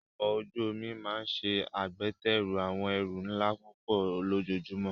Ọkọ̀ ojú omi máa ń ṣe agbátẹrù àwọn ẹrù ńlá púpọ̀ lójoojúmọ́.